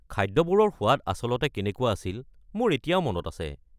খাদ্যবোৰৰ সোৱাদ আচলতে কেনেকুৱা আছিল মোৰ এতিয়াও মনত আছে।